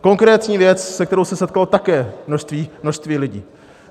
Konkrétně věc, se kterou se setkalo také množství lidí.